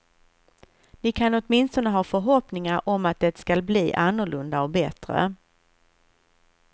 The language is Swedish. Ni kan åtminstone ha förhoppningar om att det skall bli annorlunda och bättre.